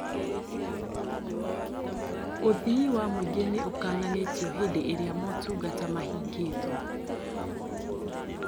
Ũthii wa mũingĩ nĩũkananĩtio hĩndĩ ĩrĩa motungata mahingĩtwo